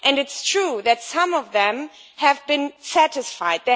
It is true that some of them have been satisfied